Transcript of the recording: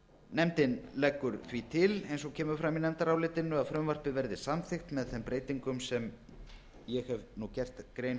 nefndin leggur til eins og kemur fram í nefndarálitinu að frumvarpið verði samþykkt með þeim breytingum sem ég hef nú gert grein